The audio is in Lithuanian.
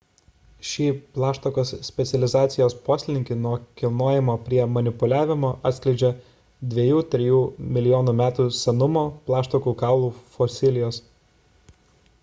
šį plaštakos specializacijos poslinkį nuo kilnojimo prie manipuliavimo atskleidžia 2–3 milijonų metų senumo plaštakų kaulų fosilijos